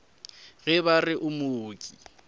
ge ba re o mooki